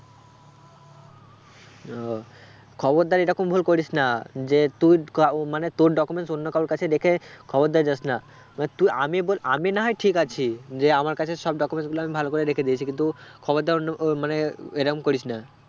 ও খবরদার এরকম ভুল করিস না যে তুই ও মানে তোর documents অন্য কারোর কাছে রেখে খবরদার যাস না এবার তুই আমি বলে আমি না হয় ঠিক আছি যে আমার কাছে সব documents গুলো আমি ভালো করে রেখে দিয়েছি কিন্তু খবরদার অন্য আহ মানে উহ এরম করিস না